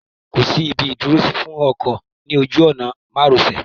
Kì í sí ibi ìdúrósí fún ọkọ̀ ní ojú ọ̀nà márosẹ.